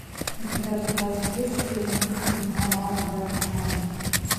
у тебя в запасе есть фильмы ингмара бергмана